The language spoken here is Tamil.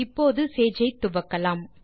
இப்போது சேஜ் ஐ துவக்கலாம்